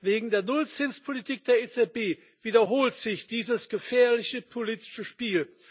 Wegen der Nullzinspolitik der EZB wiederholt sich dieses gefährliche politische Spiel.